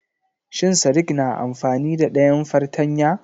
Shin sadik na amfani da dayan fartanya?